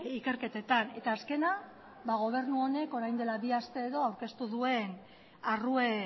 ikerketetan eta azkena gobernu honek orain dela bi aste edo aurkeztu duen arrue